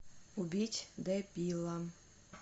убить дебила